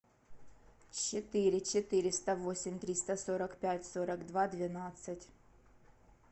четыре четыреста восемь триста сорок пять сорок два двенадцать